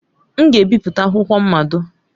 M ga-ebipụta akwụkwọ mmado.